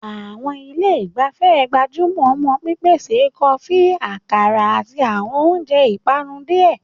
Àwọn ilé ìgbafẹ́ gbájú mọ́ pípèsè kọfí, àkàrà, àti àwọn oúnjẹ ìpanu díẹ̀.